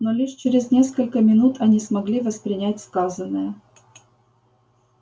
но лишь через несколько минут они смогли воспринять сказанное